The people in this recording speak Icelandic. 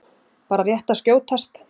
Bara rétt að skjótast.